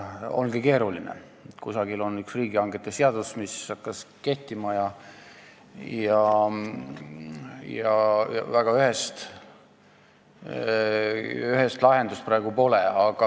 See ongi keeruline teema: meil on riigihangete seadus, mis hakkas kehtima, ja väga ühest lahendust praegu pole.